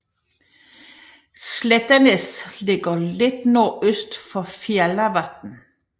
Slættanes ligger lidt nordøst for Fjallavatn